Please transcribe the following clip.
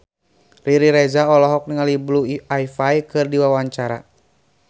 Riri Reza olohok ningali Blue Ivy keur diwawancara